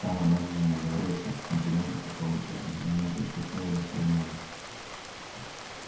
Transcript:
там она мне наговорила всяких комплиментов по поводу сергея и мы пришли к выводу что я молодец